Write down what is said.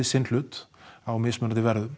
sinn hlut á mismunandi verðum